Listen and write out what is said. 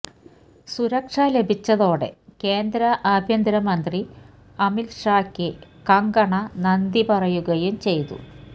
സുരക്ഷ ലഭിച്ചതോടെ കേന്ദ്ര ആഭ്യന്തര മന്ത്രി അമിത് ഷായ്ക്ക് കങ്കണ നന്ദി പറയുകയും ചെയ്തു